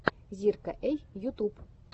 зирка эй ютуб